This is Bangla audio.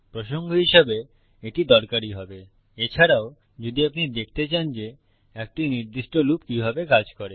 প্রসঙ্গ হিসাবে এটি দরকারী হবে এছাড়াও যদি আপনি দেখতে চান যে একটি নির্দিষ্ট লুপ কিভাবে কাজ করে